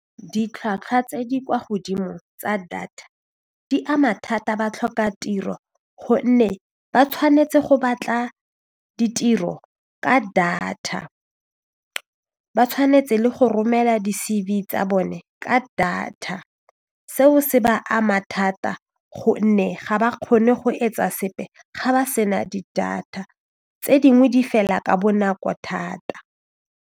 Ditlhwatlhwa tse di kwa godimo tsa data di ama thata batlhokatiro gonne ba tshwanetse go batla ditiro ka data, ba tshwanetse le go romela di C_V tsa bone ka data seo se ba ama thata gonne ga ba kgone go etsa sepe ga ba se na di data tse dingwe di fela ka bonako thata.